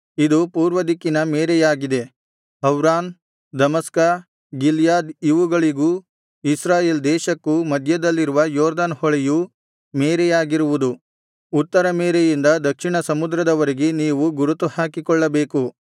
ಇದು ಪೂರ್ವದಿಕ್ಕಿನ ಮೇರೆಯಾಗಿದೆ ಹವ್ರಾನ್ ದಮಸ್ಕ ಗಿಲ್ಯಾದ್ ಇವುಗಳಿಗೂ ಇಸ್ರಾಯೇಲ್ ದೇಶಕ್ಕೂ ಮಧ್ಯದಲ್ಲಿರುವ ಯೊರ್ದನ್ ಹೊಳೆಯು ಮೇರೆಯಾಗಿರುವುದು ಉತ್ತರ ಮೇರೆಯಿಂದ ದಕ್ಷಿಣ ಸಮುದ್ರದವರೆಗೆ ನೀವು ಗುರುತು ಹಾಕಿಕೊಳ್ಳಬೇಕು